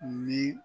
Ni